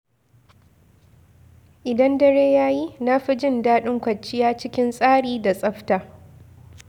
Idan dare ya yi, na fi jin daɗin kwanciya cikin tsari da tsafta.